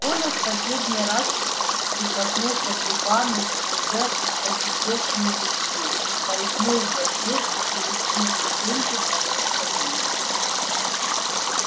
коля в последний раз прикоснулся губами к уже поседевшему виску скользнул за дверь и через три ступеньки понёсся вниз